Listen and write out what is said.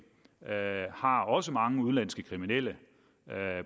har også mange udenlandske kriminelle